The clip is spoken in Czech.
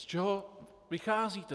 Z čeho vycházíte?